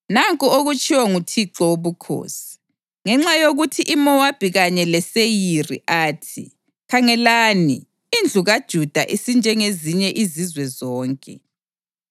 “Nanku okutshiwo nguThixo Wobukhosi: ‘Ngenxa yokuthi iMowabi kanye leSeyiri athi, “Khangelani, indlu kaJuda isinjengezinye izizwe zonke,”